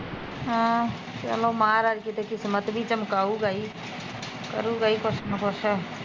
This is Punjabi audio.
ਹਾਂ ਚਲੋ ਮਹਾਰਾਜ ਕਿਤੇ ਕਿਸਮਤ ਵੀ ਚਮਕਾਊਗਾ ਹੀਂ ਕਰੁਗਾ ਈ ਕੁਸ਼ ਨਾ ਕੁਸ਼